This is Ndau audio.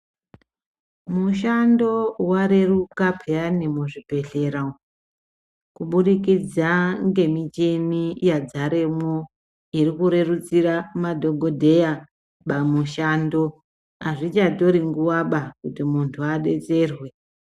Mushando wareruka pheyani muzvibhedhlera umu, kubudikidza ngemichini yadzaremwo iri kurerusira madhokodheya pamushando. Azvichatori nguwa ba kuti muntu adetserwe.